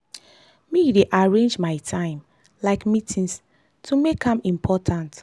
me dey arrange my time like meetings to make am important.